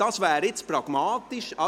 – Das wäre jetzt pragmatisch.